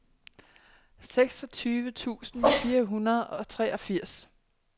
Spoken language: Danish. seksogtyve tusind fire hundrede og treogfirs